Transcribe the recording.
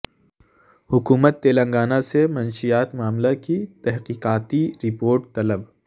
حکومت تلنگانہ سے منشیات معاملہ کی تحقیقاتی رپورٹ طلب